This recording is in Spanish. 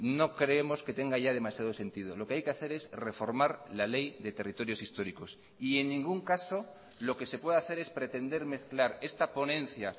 no creemos que tenga ya demasiado sentido lo que hay que hacer es reformar la ley de territorios históricos y en ningún caso lo que se puede hacer es pretender mezclar esta ponencia